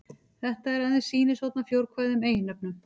Þetta er aðeins sýnishorn af fjórkvæðum eiginnöfnum.